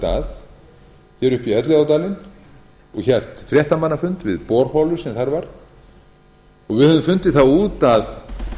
upp í elliðaárdalinn og hélt fréttamannafund við borholu sem þar var og við höfðum fundið það út að